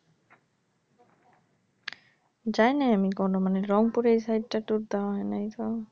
জাইনাই আমি কখনো মানে রংপুরের এই side টা tour দেওয়া হয়নি